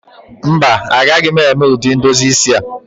Mba, agaghị m eme ụdị ndozi isi a